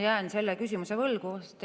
Ma jään selle küsimuse vastuse võlgu.